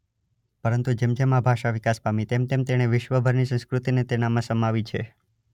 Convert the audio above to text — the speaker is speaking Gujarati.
પરંતુ જેમજેમ આ ભાષા વિકાસ પામી તેમતેમ તેણે વિશ્વભરની સંસ્કૃતિને તેનામાં સમાવી છે.